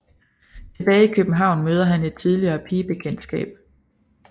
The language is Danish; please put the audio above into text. Tilbage i København møder han et tidligere pigebekendtskab